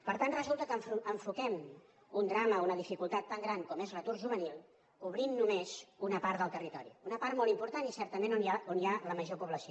per tant resulta que enfoquem un drama una dificultat tan gran com és l’atur juvenil cobrint només una part del territori una part molt important i certament on hi ha la major població